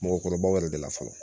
Mɔgɔkɔrɔbaw yɛrɛ de la fɔlɔ